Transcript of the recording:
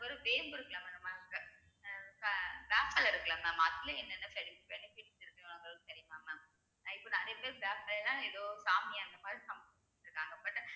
ஒரு வேம்பு இருக்குல்ல mam நம்ம ஹா வேப்பில்லை இருக்குல்ல mam அதுலயே என்னென்ன be~ benefits இருக்குங்கறது தெரியுமா mam அஹ் இப்போ நிறைய பேர் வேப்பில்லைனா ஏதோ சாமி அந்த மாதிரி சாமி கும்பிட்டுட்டுருக்காங்க but